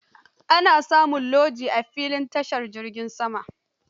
Ana samin lojin a filin tashin jiragen sama.